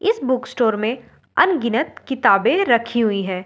इस book store में अनगिनत किताबें रखी हुई हैं और --